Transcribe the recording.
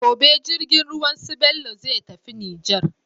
Gobe jirgin ruwan su bello zai tafi niger